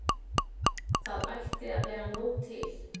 Það ætti að vera nóg til.